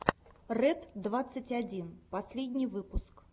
рэд двадцать один последний выпуск